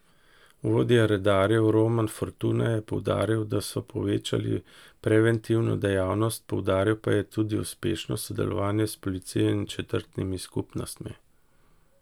Vodja redarjev Roman Fortuna je poudaril, da so povečali preventivno dejavnost, poudaril pa je tudi uspešno sodelovanje s policijo in četrtnimi skupnostmi.